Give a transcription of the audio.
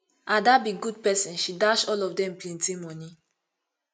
ada be good person she dash all of dem plenty money